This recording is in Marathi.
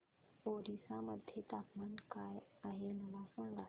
ओरिसा मध्ये तापमान काय आहे मला सांगा